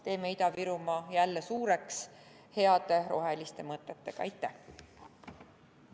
Teeme Ida-Virumaa jälle suureks heade roheliste mõtetega!